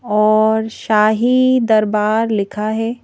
और शाही दरबार लिखा है।